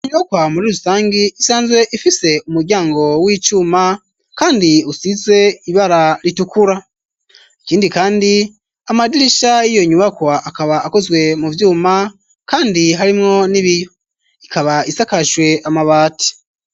Inyubakwa muri rusangi isanzwe ifise umuryango w'icuma kandi usize ibara ritukura. Ikindi kandi amadirisha y'iyo nyubakwa akaba akozwe mu vyuma kandi harimwo n'ibiyo. Ikaba isakajwe amabati.